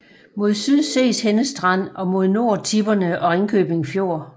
Mod syd ses Henne Strand og mod nord Tipperne og Ringkøbing Fjord